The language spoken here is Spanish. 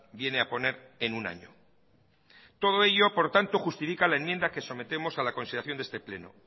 viene a poner en un año todo ello por tanto justifica la enmienda que sometemos a la consideración de este pleno